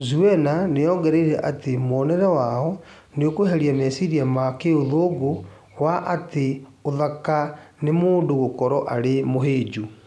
Zuwena nĩongereire atĩ mũonere wao nĩũkweheria meciria ma kĩũthũngũ wa atĩ ũthaka nĩ mũndũ gũkorwo arĩ mũhĩnju